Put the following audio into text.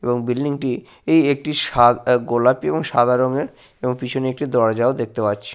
এবং বিল্ডিং টি এই একটি সা আ গোলাপি এবং সাদা রঙের এবং পিছনে একটি দরজায় দেখতে পাচ্ছি।